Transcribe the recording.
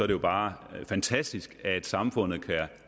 det jo bare fantastisk at samfundet kan